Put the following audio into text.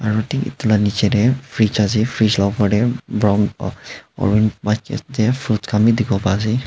aro thik edu la nichae tae fridge ase fridge la opor tae brown fruits khan bi dikhiwo paase.